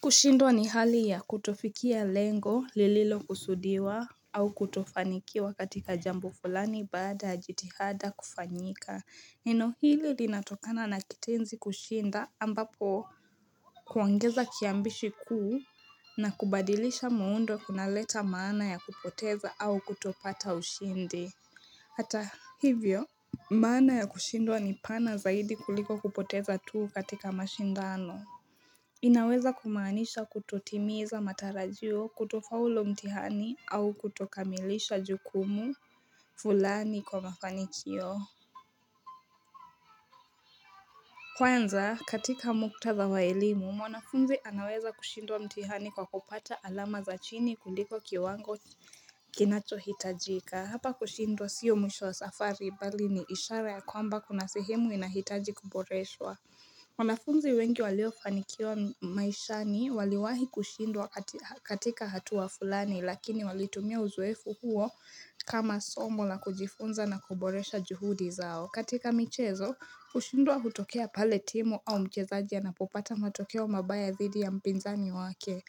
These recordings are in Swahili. Kushindwa ni hali ya kutofikia lengo, lililo kusudiwa au kutofanikiwa katika jambo fulani baada ya jitihada kufanyika. Neno hili linatokana na kitenzi kushinda ambapo kuongeza kiambishi kuu na kubadilisha muundo kuna leta maana ya kupoteza au kutopata ushindi. Hata hivyo, maana ya kushindwa ni pana zaidi kuliko kupoteza tuu katika mashindano. Inaweza kumaanisha kutotimiza matarajio kutofaulu mtihani au kutokamilisha jukumu fulani kwa mafanikio Kwanza, katika muktadha waelimu, wanafunzi anaweza kushindwa mtihani kwa kupata alama za chini kuliko kiwango kinachohitajika Hapa kushindwa sio mwisho wa safari bali ni ishara ya kwamba kuna sehemu inahitaji kuboreswa wanafunzi wengi waliofanikiwa maishani waliwahi kushindwa katika hatua fulani lakini walitumia uzoefu huo kama somo la kujifunza na kuboresha juhudi zao. Katika michezo, kushindwa hutokea pale timu au mchezaji anapopata matokeo mabaya zidi ya mpinzani wake.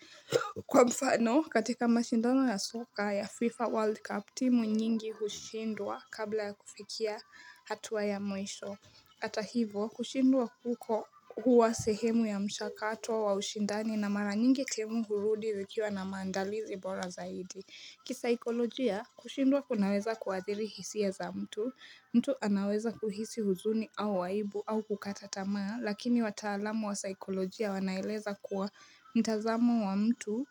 Kwa mfano, katika mashindano ya soka ya FIFA World Cup, timu nyingi hushindwa kabla ya kufikia hatua ya mwisho. Hata hivo, kushindwa kuko huwa sehemu ya mshakato wa wa ushindani na mara nyingi timu hurudi zikiwa na maandalizi bora zaidi. Kisaikolojia, kushindwa kunaweza kuathiri hisia za mtu. Mtu anaweza kuhisi huzuni au aibu au kukatatamaa, lakini wataalamu wa saikolojia wanaeleza kuwa mtazamo wa mtu.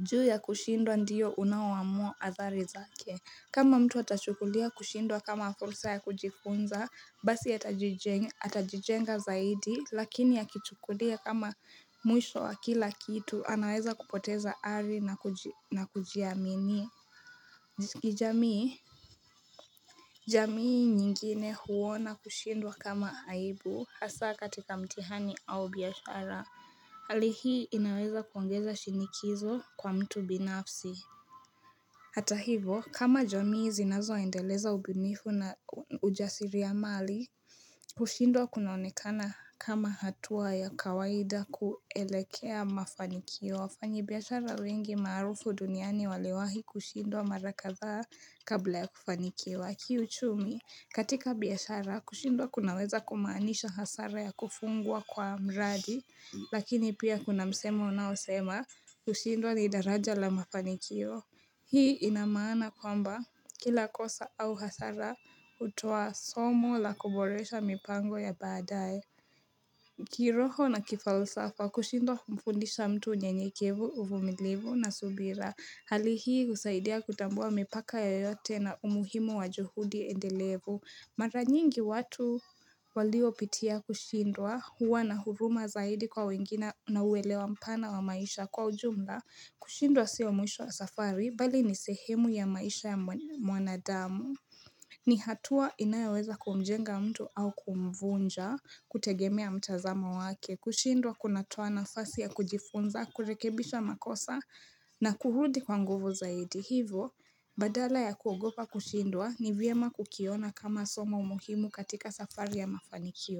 Juu ya kushindwa ndiyo unaoamua athari zake. Kama mtu atachukulia kushindwa kama fursa ya kujifunza, basi atajijenga zaidi, lakini akichukulia kama mwisho wa kila kitu, anaweza kupoteza ari na kujiamini. Jamii? Jamii nyingine huona kushindwa kama aibu, hasa katika mtihani au biashara. Hali hii inaweza kuongeza shinikizo kwa mtu binafsi. Hata hivo, kama jamii zinazo endeleza ubunifu na ujasiri ya mali, kushindwa kunaonekana kama hatua ya kawaida kuelekea mafanikio. Wafanyi biashara wengi maarufu duniani waliwahi kushindwa marakadhaa kabla ya kufanikiwa. Kiuchumi, katika biashara, kushindwa kunaweza kumaanisha hasara ya kufungwa kwa mradi, lakini pia kuna msemo unaosema kushindwa ni daraja la mafanikio. Hii inamaana kwamba kila kosa au hasara hutoa somo la koboresha mipango ya baadaye. Kiroho na kifalsafa kushindwa humfundisha mtu unye nyekevu uvumilivu na subira. Hali hii husaidia kutambua mipaka yoyote na umuhimu wa juhudi endelevu. Maranyingi watu walio pitia kushindwa huwa na huruma zaidi kwa wengine na uelewa mpana wa maisha kwa ujumla. Kushindwa siyo mwisho wa safari bali ni sehemu ya maisha ya mwanadamu ni hatua inayoweza kumjenga mtu au kumvunja kutegemea mtazamo wake kushindwa kunatoa nafasi ya kujifunza, kurekebisha makosa na kurudi kwa nguvu zaidi Hivo, badala ya kuogopa kushindwa ni vyema kukiona kama somo muhimu katika safari ya mafanikio.